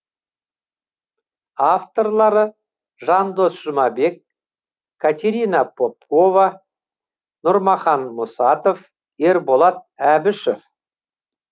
авторлары жандос жұмабек катерина попкова нұрмахан мұсатов ерболат әбішов